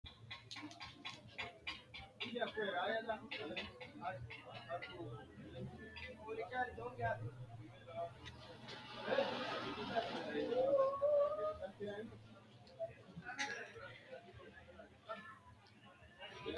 tini maa xawissanno misileeti ? mulese noori maati ? hiissinannite ise ? tini kultannori mattiya? Minnu minu aanna minaminoha maati yinnanni?